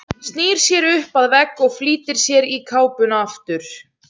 Snýr sér upp að vegg og flýtir sér í kápuna aftur.